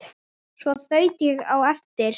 Svo þaut ég á eftir